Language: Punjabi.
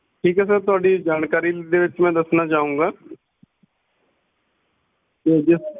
ਠੀਕ ਹੈ sir ਤੁਹਾਡੀ ਜਾਣਕਾਰੀ ਵਿੱਚ ਮੈਂ ਦੱਸਣਾ ਚਾਹੁੰਗਾ ਜੀ